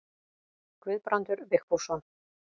Guðbrandur Vigfússon.